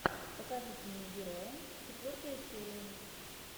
покажите мне героя четвертая серия